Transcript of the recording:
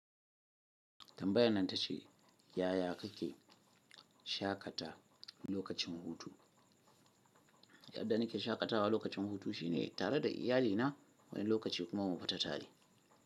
Tambayan nan ta ce, yaya kake shakata lokacin hutu? Yadda nake shakatawa lokacin hutu shine tare da iyalina, wani lokaci kuma mu fita tare.